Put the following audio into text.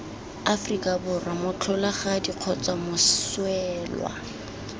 aforika borwa motlholagadi kgotsa moswelwa